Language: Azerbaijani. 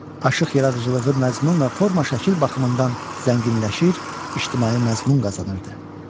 Aşıq yaradıcılığı məzmun və forma şəkil baxımından zənginləşir, ictimai məzmun qazanırdı.